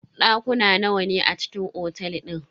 Dakuna nawa ne a cikin otel din?